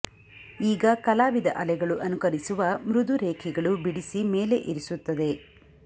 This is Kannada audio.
ಈಗ ಕಲಾವಿದ ಅಲೆಗಳು ಅನುಕರಿಸುವ ಮೃದು ರೇಖೆಗಳು ಬಿಡಿಸಿ ಮೇಲೆ ಇರಿಸುತ್ತದೆ